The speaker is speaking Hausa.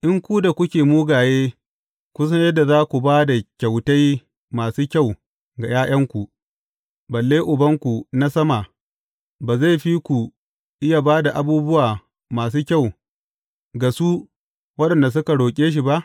In ku da kuke mugaye kun san yadda za ku ba da kyautai masu kyau ga ’ya’yanku, balle Ubanku na sama, ba zai fi ku iya ba da abubuwa masu kyau, ga su waɗanda suka roƙe shi ba!